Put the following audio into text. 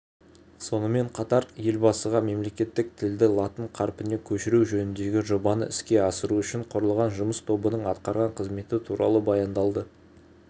сонымен қатар елбасыға мемлекеттік тілді латын қарпіне көшіру жөніндегі жобаны іске асыру үшін құрылған жұмыс тобының атқарған қызметі туралы баяндалды